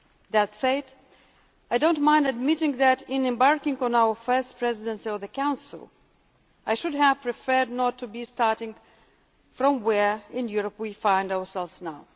That said, I do not mind admitting that in embarking on our first Presidency of the Council, I should have preferred not to be starting from where in Europe we find ourselves now.